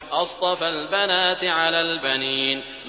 أَصْطَفَى الْبَنَاتِ عَلَى الْبَنِينَ